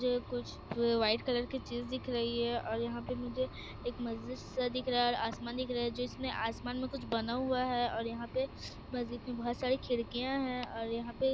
ये कुछ white colour की चीज़ दिख रही है और यहाँ पे मुझे एक मस्जिद सा दिख रहा है और आसमान दिख रहा है जिसमे आसमान में कुछ बना हुआ है और यहाँ पे मस्जिद में बहुत सारी खिड़कियाँ है और यहाँ पे--